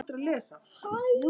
Og gafst aldrei upp.